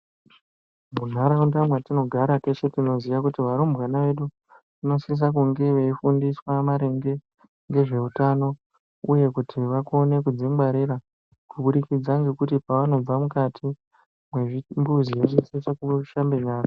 Munharaunda mwatinogara teshe tinoziya kuti varumbwana vedu ,vanosisa kunge veifundiswa maringe ngezveutano ,uye kuti vakone kudzingwarira, kubudikidza ngekuti pavanobva mukati mwezvimbuzi, vanosisa kushambe nyara.